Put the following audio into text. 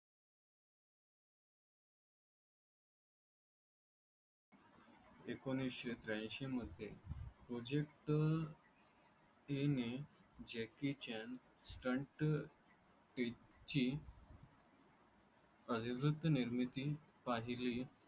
एकोणीसशे त्र्याऐंशी मध्ये project. ही नि जे kitchen stant page ची अनिरुद्ध निर्मिती पाहिली